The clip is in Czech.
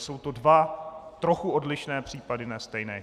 Jsou to dva trochu odlišné případy, ne stejné.